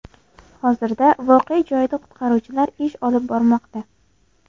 Hozirda voqea joyida qutqaruvchilar ish olib bormoqda.